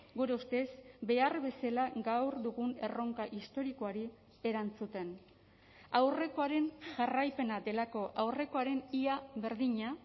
gure ustez behar bezala gaur dugun erronka historikoari erantzuten aurrekoaren jarraipena delako aurrekoaren ia berdina